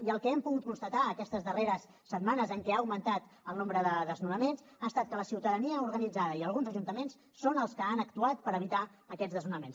i el que hem pogut constatar aquestes darreres setmanes en què ha augmentat el nombre de desnonaments ha estat que la ciutadania organitzada i alguns ajuntaments són els que han actuat per evitar aquests desnonaments